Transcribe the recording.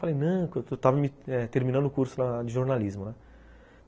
Falei, não, eu estava terminando o curso de jornalismo, né.